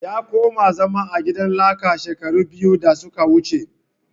Ya koma zama a gidan laka shekara biyu da suka wuce